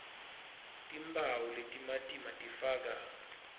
timphawu letimatima tifaka